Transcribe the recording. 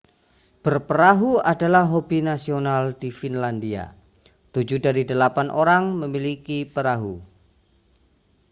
berperahu adalah hobi nasional di finlandia tujuh dari delapan orang memiliki perahu